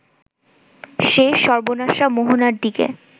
সেই সর্বনাশা মোহনার দিকে